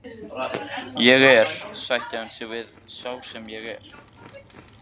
Ég er, sætti hann sig við, sá sem ég er.